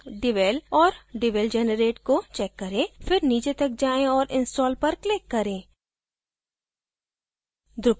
devel और devel generate को check करें फिर नीचे तक जाएँ और install पर click करें